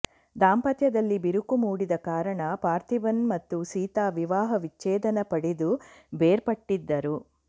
ದಾಂಪತ್ಯದಲ್ಲಿ ಬಿರುಕು ಮೂಡಿದ ಕಾರಣ ಪಾರ್ಥೀಬನ್ ಮತ್ತು ಸೀತಾ ವಿವಾಹ ವಿಚ್ಛೇಧನ ಪಡೆದು ಬೇರ್ಪಟ್ಟಿದ್ದರು